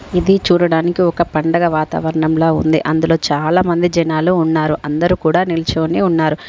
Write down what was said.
ఇది చూడడానికి ఒక పండగ వాతావరణంలా ఉంది అందులో చాలా మంది జనాలు ఉన్నారు అందరూ కూడా నిల్చొని ఉన్నారు.